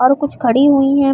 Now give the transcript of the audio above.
और कुछ खड़ी हुई है।